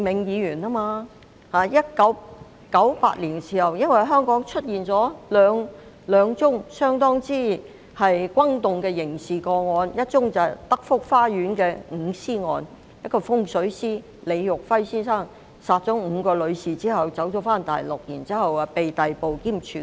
在1998年，香港出現兩宗相當轟動的刑事案件，一宗是德福花園的五屍案，一名風水師李育輝先生殺害5名女士後逃往大陸，然後被逮捕兼處決。